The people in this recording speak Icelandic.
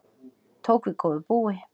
Tók við góðu búi